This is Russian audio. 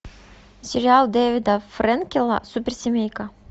сериал дэвида френкеля суперсемейка